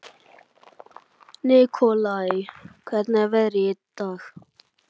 Nikolai, hvernig er veðrið í dag?